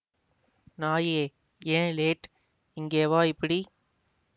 நாயே ஏன் லேட் இங்கே வா இப்படி